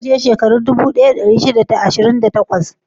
Ta kasance shekaru dubu ɗaya da ɗari shida da ashirin da takwas?